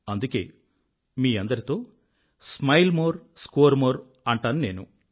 అందుకే మీ అందరితో స్మైల్ మోర్ స్కోర్ మోర్ అంటాను నేను